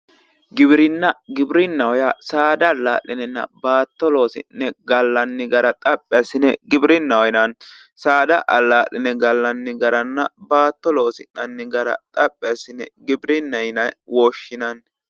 Giwiirinna giwirinnaho yaa saada alla'linenna baatto loosi'ne gallanni gara xaphi assine giwirinnaho yinanni saada allaa'line gallanni garanna baattto loosi'nanni gara xaphi assine giwirinna yine woshshinanni